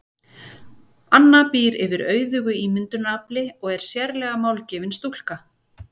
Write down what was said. Anna býr yfir auðugu ímyndunarafli og er sérlega málgefin stúlka.